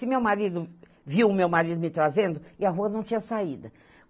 Se meu marido, viu meu marido me trazendo, e a rua não tinha saída.